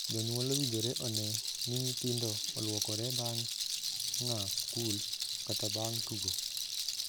Jonyuol owinjore onee ni nyithindo oluokore bang' aa skul kata bang' tugo.